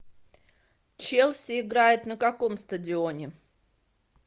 челси играет на каком стадионе